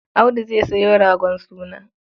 Audu zai sayo ragon suna.